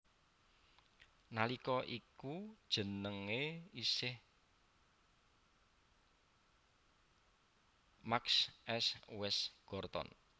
Nalika iku jenenge isih St Mark s West Gorton